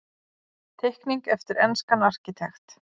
Teikning eftir enskan arkitekt.